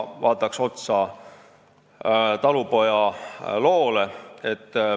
Vaatame otsa talupoja loole.